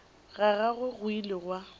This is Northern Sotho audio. ga gagwe go ile gwa